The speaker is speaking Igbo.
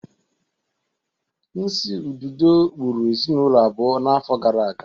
Nsi ududo gburu ezinụlọ abụọ n'afọ gara aga